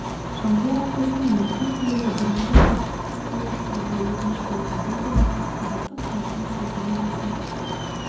жамбыл облысында мектеп түлегі бірыңғай ұлттық тестілеу тапсыруға өтініш берді бұл туралы ақпараттық сайтына сілтеме жасай